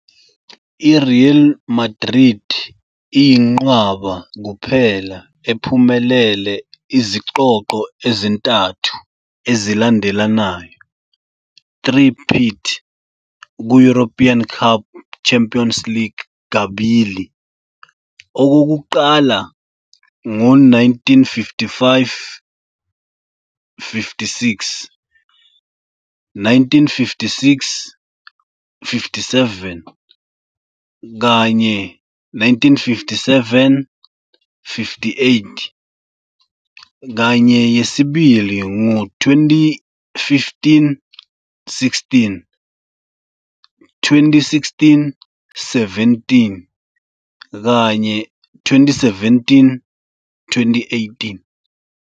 I-Real Madrid iyinqwaba kuphela ephumelele izicoco ezintathu ezilandelanayo, 'three-peat', ku-European Cup, Champions League kabili, okokuqala ngo1955-56, 1956-57, kanye 1957-58, kanye yesibili ngo 2015-16, 2016-17 kanye 2017-18.